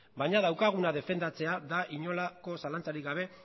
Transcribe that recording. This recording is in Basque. baina daukaguna defendatzea da inolako zalantzarik gabe